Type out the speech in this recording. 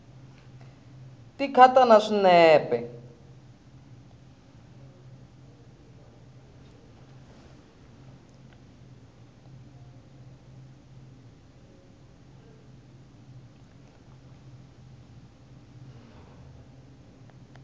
ti khata na swinepe